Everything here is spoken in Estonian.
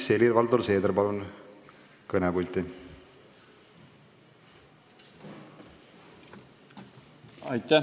Helir-Valdor Seeder, palun kõnepulti!